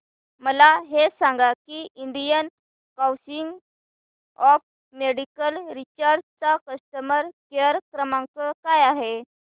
मला हे सांग की Indian council of medical research चा कस्टमर केअर क्रमांक काय आहे